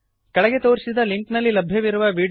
ಕೆಳಗೆ ತೋರಿಸಿದ ಲಿಂಕ್ನಲ್ಲಿ ಲಭ್ಯವಿರುವ ವೀಡಿಯೋವನ್ನು ನೋಡಿರಿ